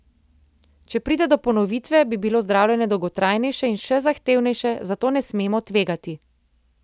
Če pride do ponovitve, bi bilo zdravljenje dolgotrajnejše in še zahtevnejše, zato ne smemo tvegati.